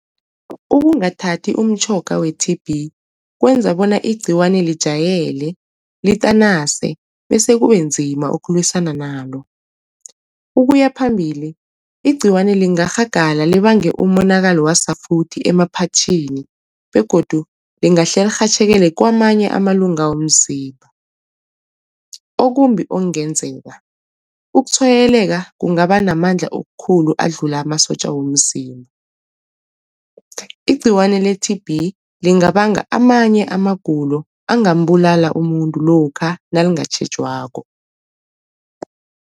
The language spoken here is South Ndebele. Ukungathati umtjhoga we-T_B kwenza bona igciwane lijayele litanase, bese kube nzima ukulwisana nalo. Ukuyaphambili igciwane lingarhagala libange umonakalo wasafuthi emaphatjhini begodu lingahle lirhatjhekele kamanye amalunga womzimba. Okumbi okungenzeka, ukutshwayeleka kungaba namandla okukhulu adlula amasotja womzimba, igciwane le-T_B lingabanga amanye amagulo angambulala umuntu lokha nalingatjhejwako.